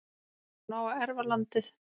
hún á að erfa landið.